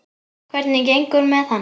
Hvernig gengur með hann?